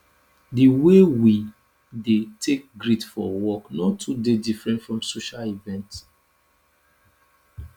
di way we dey take greet for work no too dey diffrent from social event